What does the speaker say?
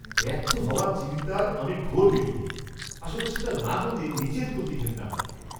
ব্যর্থ হওয়ার চিন্তার আমি ঘোর বিরোধী। আসলে, সেটা না হলে, নিজের প্রতি ঘেন্না হয়।